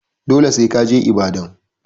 Dole sai ka je Ibadan.